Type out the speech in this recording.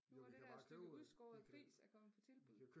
Nu hvor det dér stykke udskåret gris er kommet på tilbud